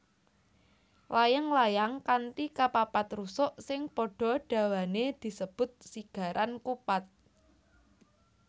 Layang layang kanthi kapapat rusuk sing padha dawané disebut sigaran kupat